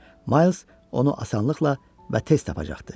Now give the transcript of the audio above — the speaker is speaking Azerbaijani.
Miles onu asanlıqla və tez tapacaqdı.